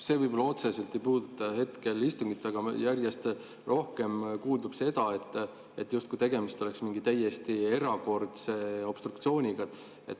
See võib-olla otseselt ei puuduta hetkel istungit, aga järjest rohkem kuuldub seda, justkui tegemist oleks mingi täiesti erakordse obstruktsiooniga.